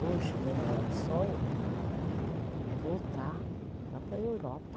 Hoje, meu maior sonho é voltar lá para a Europa.